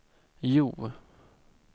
Hjo